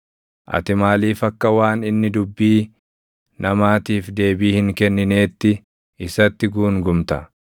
Ati maaliif akka waan inni dubbii namaatiif deebii hin kennineetti isatti guungumta?